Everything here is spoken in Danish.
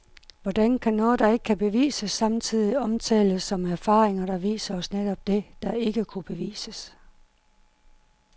Hvordan kan noget der ikke kan bevises, samtidig omtales som erfaringer der viser os netop det, der ikke kunne bevises?